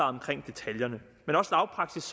omkring detaljerne men også lavpraktisk